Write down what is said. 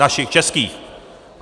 Našich českých.